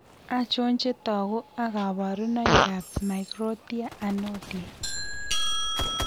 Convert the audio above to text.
Achon chetogu ak kaborunoik ab Microtia Anotia?